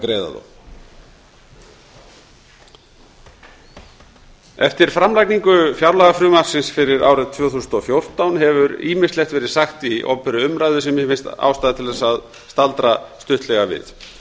greiða þá eftir framlagningu fjárlagafrumvarpsins fyrir árið tvö þúsund og fjórtán hefur ýmislegt verið sagt í opinberri umræðu sem mér finnst ástæða til þess að staldra stuttlega við